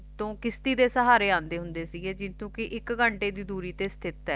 ਤੋਂ ਕਿਸ਼ਤੀ ਦੇ ਸਹਾਰੇ ਆਉਂਦੇ ਹੁੰਦੇ ਸੀਗੇ ਕਿਉਂਕਿ ਇਕ ਘੰਟੇ ਦੀ ਦੂਰੀ ਤੇ ਸਥਿਤ ਹੈ